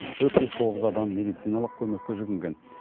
төрт жүз тоғыз адам медициналық көмекке жүгінген